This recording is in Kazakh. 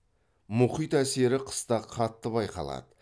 мұхит әсері қыста қатты байқалады